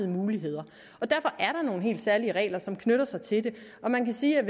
muligheder og derfor er der nogle helt særlige regler som knytter sig til det man kan sige at